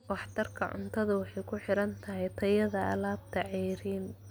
Waxtarka cuntadu waxay ku xiran tahay tayada alaabta ceeriin.